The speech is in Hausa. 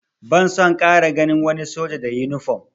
Ban son ƙara ganin wani soja da yunifom!